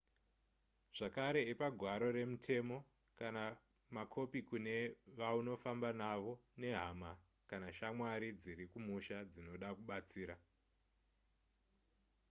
zvakare ipa gwaro remutemo/kana makopi kune vaunofamba navo nehama kana shamwari dziri kumusha dzinoda kubatsira